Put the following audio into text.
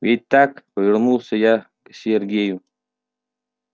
ведь так повернулся я к сергею